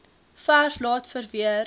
verf laat verweer